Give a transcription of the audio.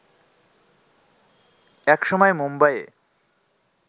একসময় মুম্বাইয়ে